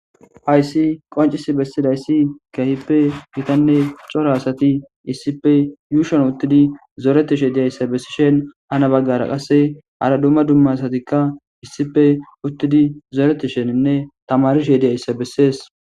Hayssi qoncis bessidayssi kahippe gitanne cora asati issippe yuushon uttidi zooretishe diyayssa bessi shen hana baggara qasse ara dumma dumma satikka issipe uttidi zooreti sheninne tamarishe diyayssa bessees.